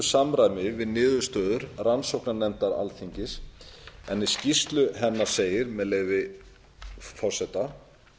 samræmi við niðurstöður rannsóknarnefndar alþingis en í skýrslu hennar segir með leyfi forseta